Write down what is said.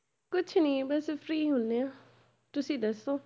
ਕੁਛ ਨੀ ਬਸ free ਹੁੰਦੇ ਹਾਂ, ਤੁਸੀਂ ਦੱਸੋ?